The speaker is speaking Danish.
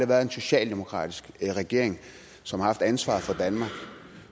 været en socialdemokratisk regering som har haft ansvaret for danmark